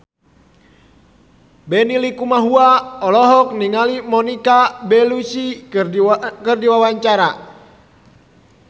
Benny Likumahua olohok ningali Monica Belluci keur diwawancara